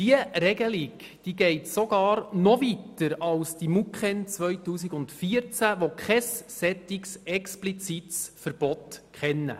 Diese Regelung geht sogar noch weiter als die MUKEn 2014, die kein solch explizites Verbot kennen.